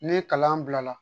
Ni kalan bila la